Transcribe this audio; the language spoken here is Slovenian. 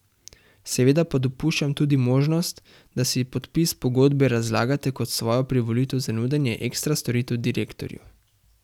Seveda pa dopuščam tudi možnost, da si podpis pogodbe razlagate kot svojo privolitev za nudenje ekstra storitev direktorju.